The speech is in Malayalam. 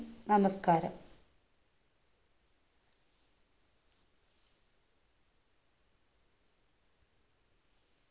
നമസ്കാരം